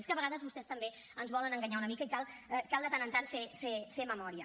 és que a vegades vostès també ens volen enganyar una mica i cal de tant en tant fer memòria